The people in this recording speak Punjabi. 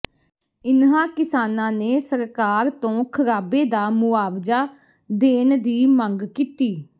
ਇਨ੍ਹਾਂ ਕਿਸਾਨਾਂ ਨੇ ਸਰਕਾਰ ਤੋਂ ਖਰਾਬੇ ਦਾ ਮੁਆਵਜਾ ਦੇਣ ਦੀ ਮੰਗ ਕੀਤੀ